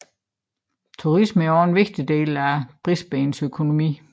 Turisme er også en vigtig del af Brisbanes økonomi